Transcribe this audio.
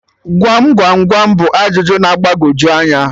Gwam gwam gwam bụ ajụjụ na-agbagoju anya